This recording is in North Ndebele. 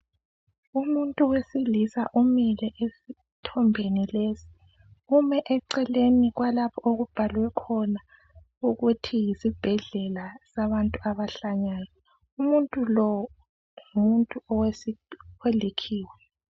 Umuntu wesilisa umile esithombeni lesi ume eceleni kwalapho okubhalwe khona ukuthi yisibhedlela sabantu abahlanyayo umuntu lo ngumuntu olikhiwa.